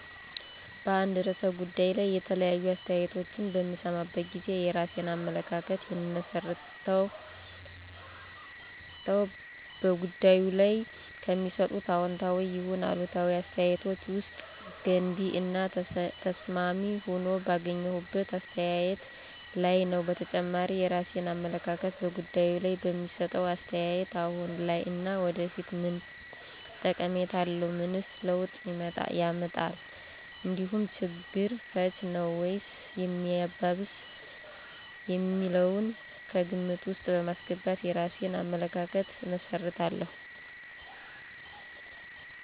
በአንድ ርዕሰ ጉዳይ ላይ የተለያዩ አስተያየቶችን በምሰማበት ጊዜ የራሴን አመለካከት የምመሰርተው በጉዳዩ ላይ ከሚሰጡት አዎንታዊ ይሁን አሉታዊ አስተያየቶች ውስጥ ገንቢ እና ተስማሚ ሆኖ ባገኘሁት አስተያየት ላይ ነዉ። በተጨማሪም የራሴን አመለካከት በጉዳዩ ላይ በሚሰጠው አስተያየት አሁን ላይ እና ወደፊት ምን ጠቀሜታ አለው፣ ምንስ ለውጥ ያመጣል እንዲሁም ችግር ፈች ነዉ ወይስ ሚያባብስ የሚለውን ከግምት ውስጥ በማስገባት የራሴን አመለካከት እመሰርታለሁ።